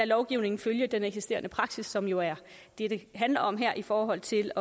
lovgivningen følge den eksisterende praksis som jo er det det handler om her i forhold til